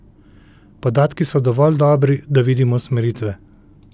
Podatki so dovolj dobri, da vidimo usmeritve.